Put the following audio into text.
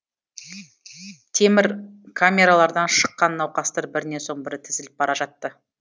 темір камералардан шыққан науқастар бірінен соң бірі тізіліп бара жатты